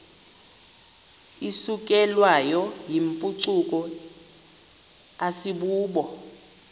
isukelwayo yimpucuko asibubo